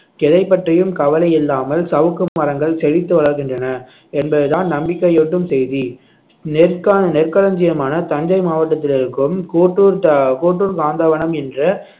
எதைப் பற்றியும் கவலை இல்லாமல் சவுக்கு மரங்கள் செழித்து வளர்கின்றன என்பதுதான் நம்பிக்கையூட்டும் செய்தி நெற்கான் நெற்களஞ்சியமான தஞ்சை மாவட்டத்தில் இருக்கும் கோட்டூர் ட~ கோட்டூர் காந்தவனம் என்ற